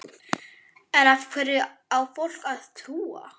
En hverju á fólk að trúa?